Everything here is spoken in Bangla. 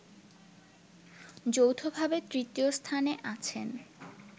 যৌথভাবে তৃতীয় স্থানে আছেন